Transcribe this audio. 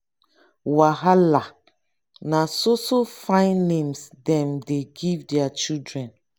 wahala! na so so fine names dem dey give their children.